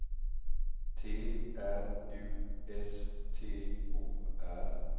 T R U S T O R